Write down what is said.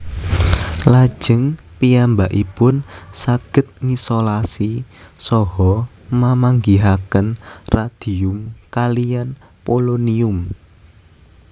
Lajeng piyambakipun saged ngisolasi saha mamanggihaken radium kaliyan polonium